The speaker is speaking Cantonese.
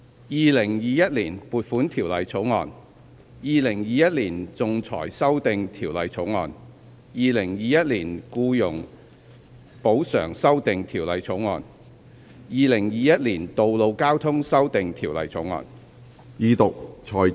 《2021年撥款條例草案》《2021年仲裁條例草案》《2021年僱員補償條例草案》《2021年道路交通條例草案》。